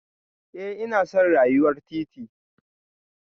Eh ina son rayuwar titi